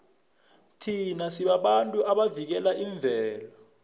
thina sibabantu abavikela imvelo